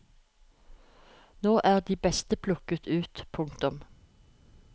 Nå er de beste plukket ut. punktum